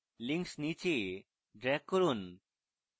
links নীচে drag করুন